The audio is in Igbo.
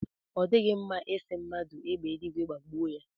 Ọ dịghị mma ị sị mmadụ égbè eluigwe gbagbue ya.